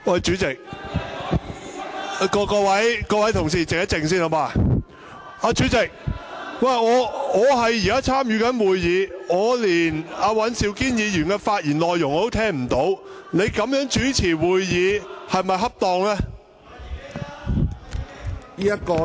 主席，我正在參與會議，但我連尹兆堅議員的發言內容也聽不到，你這樣主持會議是否恰當呢？